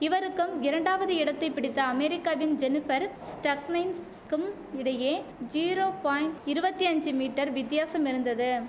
இவருக்கும் இரண்டாவது இடத்தை பிடித்த அமேரிக்காவின் ஜெனிபர் ஸ்டக்னைஸ்கும் இடையே ஜீரோ பாய்ண்ட் இருவத்தஞ்சு மீட்டர் வித்தியாசம் இருந்தது